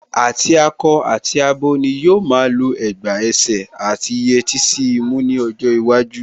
Àti akọ àti abo ni yóò máa lọ ẹ̀gbà ẹsẹ̀ àti yẹtí sí imú ní ọjọ́ iwájú